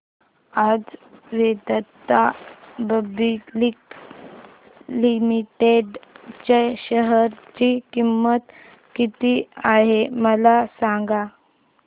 आज Vedanta public limited च्या share ची किंमत किती आहे मला सांगा